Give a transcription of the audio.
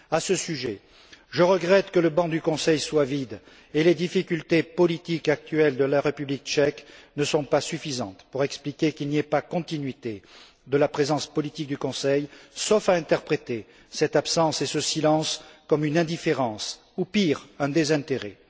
À ce sujet, je regrette que le banc du Conseil soit vide, et les difficultés politiques actuelles de la République tchèque ne sont pas suffisantes pour expliquer qu'il n'y ait pas de continuité dans la présence politique du Conseil, sauf à interpréter cette absence et ce silence comme une indifférence, ou pire, un désintérêt.